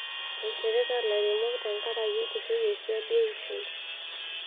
eishirita ilairemok tenkaraki etushuke siadi eishoi